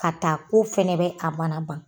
Ka taa ko fɛnɛ bɛ kamana.